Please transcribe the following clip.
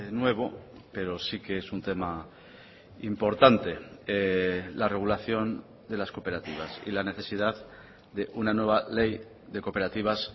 nuevo pero sí que es un tema importante la regulación de las cooperativas y la necesidad de una nueva ley de cooperativas